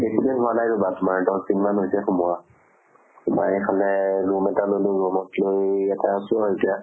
বেছি দিন হোৱা নাই ৰবা তোমাৰ দশ দিন মান হৈছে সোমোৱা। বায়ে কলে room এটা ললো, room ক লৈ ইয়াতে আছো এতিয়া।